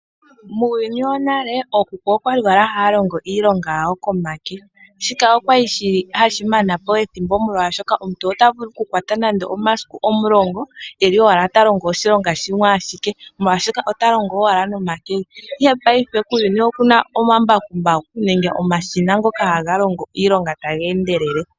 Muuyuni wonale ookuku okwali haya longo iilonga yawo komake. Shika okwali hashi mana po ethimbo molwaashoka, omuntu ota vulu oku kwata nande omasiku geli omulongo eli owala ta longo oshilonga shimwe ashike. Mongaashingeyi kuuyuni okuna omambakumbaku nenge omashina ngoka haga longo iilonga taga endelele.